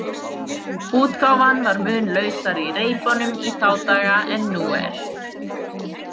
Útgáfan var mun lausari í reipunum í þá daga en nú er.